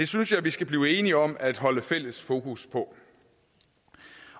synes jeg vi skal blive enige om at holde fælles fokus på